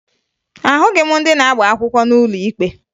Ahụghị m ndị na-agba akwụkwọ n'ụlọ ikpe